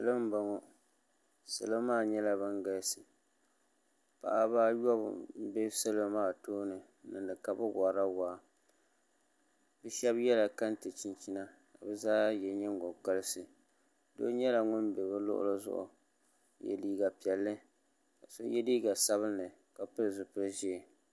Salo n bɔŋɔ salo maa nyɛla bin galisi paɣaba ayobu n bɛ salo maa tooni n niŋdi ka bi worila waa shab yɛla kɛntɛ chinchina ka bi zaa yɛ nyingokoriti so nyɛla ŋun bɛ bi luɣuli zuɣu ka yɛ liiga piɛlli ka so yɛ liiga sabinli ka pili zipili ʒiɛ